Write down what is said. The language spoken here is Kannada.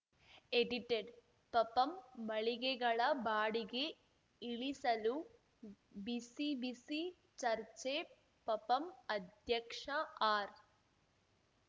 ಎಡಿಟೆಡ್‌ ಪಪಂ ಮಳಿಗೆಗಳ ಬಾಡಿಗೆ ಇಳಿಸಲು ಬಿಸಿಬಿಸಿ ಚರ್ಚೆ ಪಪಂ ಅಧ್ಯಕ್ಷ ಆರ್‌